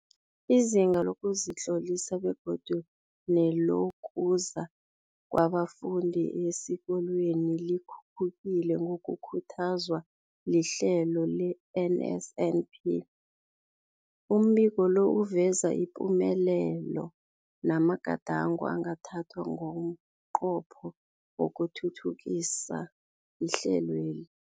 Izinga lokuzitlolisa begodu nelokuza kwabafundi esikolweni likhuphukile ngokukhuthazwa lihlelo le-NSNP. Umbiko lo uveza ipumelelo namagadango angathathwa ngomnqopho wokuthuthukisa ihlelweli.